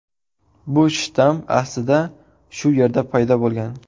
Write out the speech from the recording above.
Bu shtamm aslida shu yerda paydo bo‘lgan.